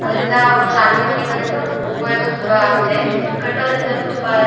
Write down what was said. ಅದ್ರಿಂದ ಒಟ್ಟ್ನಲ್ಲಿ ಅಂಗಡಿ ಮನೆ ಇರೋದ್ರಿಂದ ಉಪಯೋಗ ತುಂಬಾ ಆಗುತ್ತೆ ಕಟ್ಟೋದ್ರಿಂದನು ತುಂಬಾ --